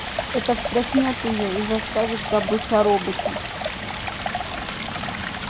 это встряхнёт её и заставит забыть о роботе